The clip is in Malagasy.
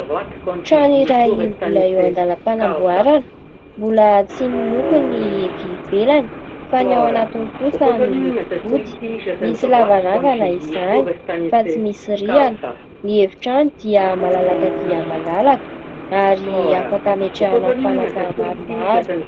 Trano iray mbola eo andalam-panamboarana. Mbola tsy miloko ny etỳ ivelany fa ny ao anatiny kosa miloko fotsy. Misy lavarangana izany fa tsy misy rihana. Ny efitrano dia malalaka dia malalaka ary afaka ametrahana fanaka maromaro.